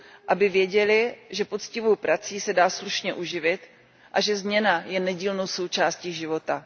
Aby věděly, že poctivou prací se dá slušně uživit a že změna je nedílnou součástí života.